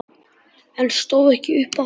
En stóð ekki upp aftur.